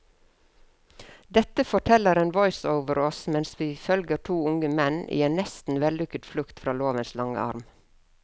Dette forteller en voiceover oss mens vi følger to unge menn i en nesten vellykket flukt fra lovens lange arm.